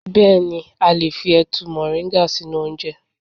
6. Bẹẹni a lè fi ẹ̀tu moringa sínú oúnjẹ.